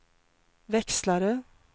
växlare